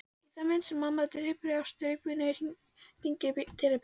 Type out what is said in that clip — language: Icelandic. Í þann mund sem mamma dreypir á staupinu hringir dyrabjallan.